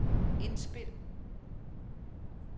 indspil